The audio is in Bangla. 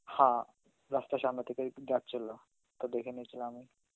হা, রাস্তার সামনে থেকেই যাচ্ছিল, তো দেখে নিছিলাম আমি.